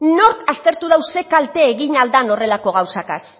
nork aztertu dau ze kalte egin ahal dan horrelako gauzakaz